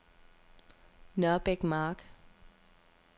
Nørbæk Mark